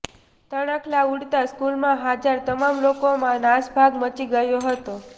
તણખલા ઉડતા સ્કૂલમાં હાજર તમામ લોકોમાં નાસભાગ મચી ગયો હતો